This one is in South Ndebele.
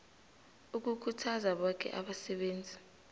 ukukhuthaza boke abasebenzi